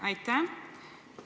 Aitäh!